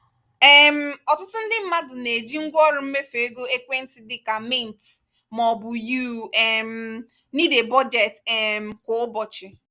um ọtụtụ ndị mmadụ na-eji ngwaọrụ mmefu ego ekwentị dịka mint maọbụ you um need a budget um (ynab) kwa ụbọchị.